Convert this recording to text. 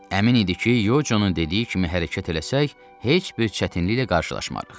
Əmin idi ki, Yoconun dediyi kimi hərəkət eləsək, heç bir çətinliklə qarşılaşmarıq.